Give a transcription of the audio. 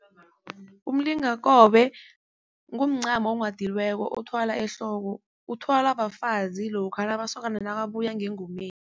Umlingakobe kumncamo onghadiweko othwalwa ehloko. Uthwalwa bafazi lokha masokana nakabuya ngengomeni.